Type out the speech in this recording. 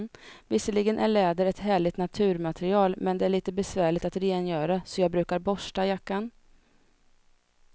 Visserligen är läder ett härligt naturmaterial, men det är lite besvärligt att rengöra, så jag brukar borsta jackan.